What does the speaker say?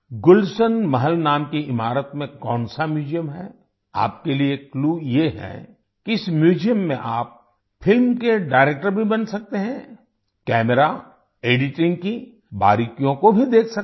गुलशन महल नाम की इमारत में कौन सा म्यूजियम है आपके लिए क्लू ये है कि इस म्यूजियम में आप फिल्म के डायरेक्टर भी बन सकते हैं कैमरा एडिटिंग की बारीकियों को भी देख सकते हैं